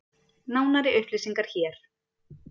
Nánari upplýsingar hér